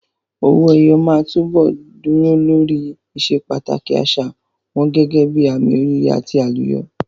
Owó ẹyọ máa túbọ̀ dúró lórí ìsepàtàkì àṣà wọn gẹ́gẹ́ bíi àmì oríire àti àlùyọ.